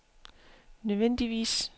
nødvendigvis